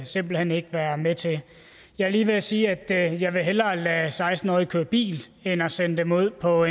simpelt hen ikke være med til jeg er lige ved at sige at jeg hellere vil lade seksten årige køre bil end at sende dem ud på